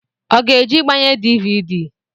Ọ ga eje igbanye dịvịdị?